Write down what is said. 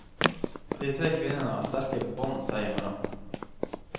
De tre kvinnene har sterke bånd seg imellom.